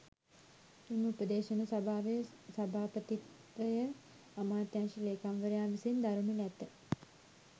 මෙම උපදේශන සභාවේ සභාපතිත්වය අමාත්‍යාංශ ‍ලේකම්වරයා විසින් දරනු ඇත.